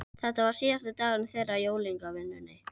Reykjavíkurbær keypti vatns- og hitaréttindi á